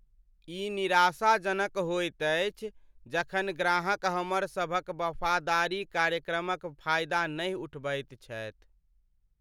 ई निराशाजनक होइत अछि जखन ग्राहक हमरसभक वफादारी कार्यक्रमक फायदा नहि उठबैत छथि।